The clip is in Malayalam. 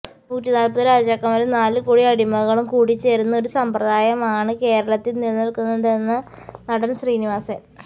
നൂറ്റിനാല്പ്പത് രാജാക്കന്മാരും നാലുകോടി അടിമകളും കൂടിച്ചേര്ന്ന ഒരു സമ്പ്രദായമാണ് കേരളത്തില് നിലനില്ക്കുന്നതെന്ന് നടന് ശ്രീനിവാസന്